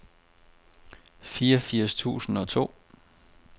fireogfirs tusind og to